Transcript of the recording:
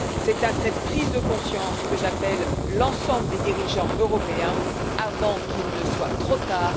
C'est à cette prise de conscience que j'appelle l'ensemble des dirigeants européens, avant qu'il ne soit trop tard.